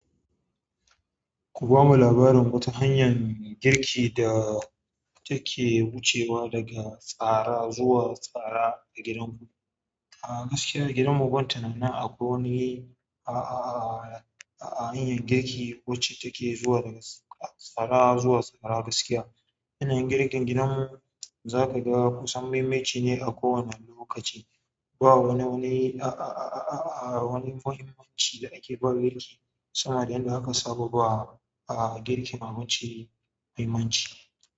Ku bamu labarin wata hanyar girki da. Take wucewa daga tsara zuwa tsara a gidan ku. Ah gaskiya a gidanmu ban tunanin akwai wani a, a, a a hanyar girki wacce take zuwa daga tsara zuwa tsara gaskiya. Yanayin girkin gidanmu za ka ga kusan maimai ci ne a kowanne lokaci. Ba wani wani a, a, a, a wani muhimmanci da ake ba girki, sama da yanda aka saba ba a girki mamaci muhimmanci.